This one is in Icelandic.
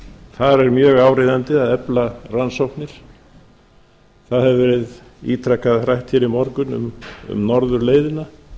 þar er mjög áríðandi að efla rannsóknir það hefur verið ítrekað rætt hér í morgun um norðurleiðina